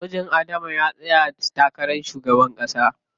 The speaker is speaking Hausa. Mijin Adama ya tsaya takarar shugaban ƙasa.